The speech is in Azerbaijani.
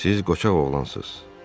Siz qoçaq oğlansız.